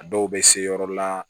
A dɔw bɛ se yɔrɔ la